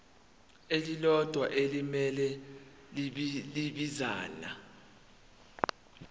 elilodwa elimele ibinzana